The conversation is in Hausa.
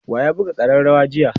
wa ya buga karrawar jiya?